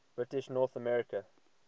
british north america